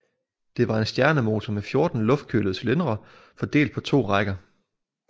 Det var en stjernemotor med 14 luftkølede cylindre fordelt på to rækker